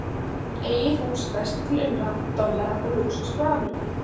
Eigið hús, verslun til umráða, dollara og lúxus frá Ameríku.